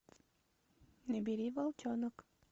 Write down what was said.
набери волчонок